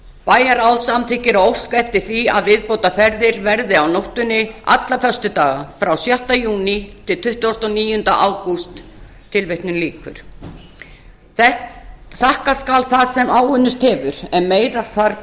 bæjarráð samþykkir að óska eftir því að viðbótarferðir verði á nóttunni alla föstudaga frá sjötta júní til tuttugasta og níunda ágúst tilvitnun lýkur þakka skal það sem áunnist hefur en meira þarf